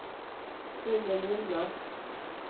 Gunnel Lundmark